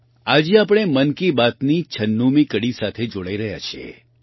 આજે આપણે મન કી બાતના છન્નુમી કડી સાથે જોડાઈ રહ્યા છીએ